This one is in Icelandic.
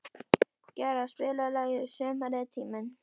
Gerðar, spilaðu lagið „Sumarið er tíminn“.